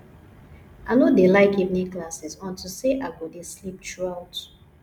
i no dey like evening classes unto say i go dey sleep through out